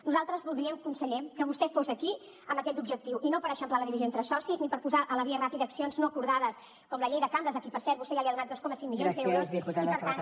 nosaltres voldríem conseller que vostè fos aquí amb aquest objectiu i no per eixamplar la divisió entre socis ni per posar a la via ràpida accions no acordades com la llei de cambres a qui per cert vostè ja ha donat dos coma cinc milions d’euros i per tant